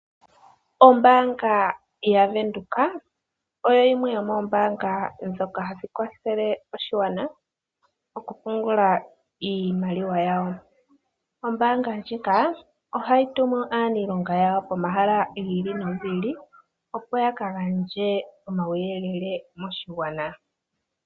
Ombanga ya venduka oyo yimwe yomoombanga hadhi kwathele aakwashigwana moku pungula iimaliwa yawo. Ombanga ndjika ohayi tumu aaniilonga pomahala giili no giili, opo yaka gandje omauyelele moshigwana.